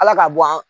Ala ka bɔ an